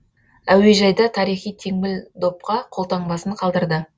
әуежайда тарихи теңбіл допқа қолтаңбасын қалдырды